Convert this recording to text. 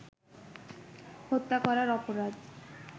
হত্যা করার অপরাধ